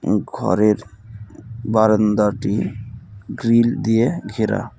ঘরের বারান্দাটি গ্রিল দিয়ে ঘেরা.